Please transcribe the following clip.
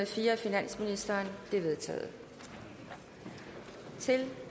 fire af finansministeren de er vedtaget til